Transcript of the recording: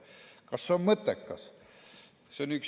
Kas see on mõttekas?